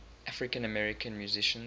african american musicians